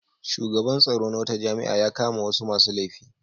Shugaban tsaro na wata jami'a ya kama wasu masu laifi.